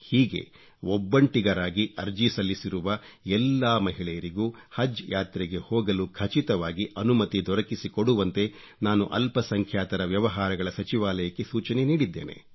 ಹೀಗೆ ಒಬ್ಬಂಟಿಗರಾಗಿ ಅರ್ಜಿ ಸಲ್ಲಿಸಿರುವ ಎಲ್ಲಾ ಮಹಿಳೆಯರಿಗೂ ಹಜ್ ಯಾತ್ರೆಗೆ ಹೋಗಲು ಖಚಿತವಾಗಿ ಅನುಮತಿ ದೊರಕಿಸಿಕೊಡುವಂತೆ ನಾನು ಅಲ್ಪಸಂಖ್ಯಾತರ ವ್ಯವಹಾರಗಳ ಸಚಿವಾಲಯಕ್ಕೆ ಸೂಚನೆ ನೀಡಿದ್ದೇನೆ